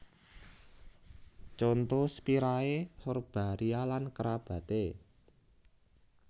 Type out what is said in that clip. Conto Spiraea Sorbaria lan kerabaté